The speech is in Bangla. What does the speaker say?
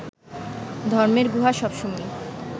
ধর্মের গুহা সবসময়ই